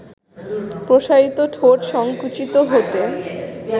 প্রসারিত ঠোঁট সংকুচিত হতে